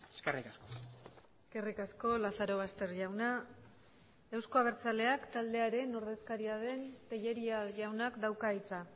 eskerrik asko eskerrik asko lazarobaster jauna euzko abertzaleak taldearen ordezkaria den tellería jaunak dauka hitza